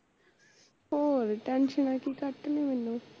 ਹੋਰ ਟੇਂਸ਼ਨਾਂ ਕੀ ਘੱਟ ਮੈਨੂੰ